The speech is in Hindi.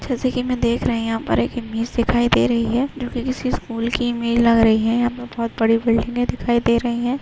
--जैसे कि मैं देख रहे है यहाँ पर एक इमेज दिखाई दे रही है जो कि किसी स्कूल की इमेज लग रही है यहाँ पर बहोत बड़ी बिल्डिंगे दिखाई दे रही है।